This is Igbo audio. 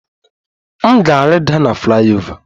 M ga-rida na flyover